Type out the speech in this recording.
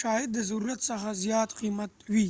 شاید د ضرورت څخه زیات قیمتي وي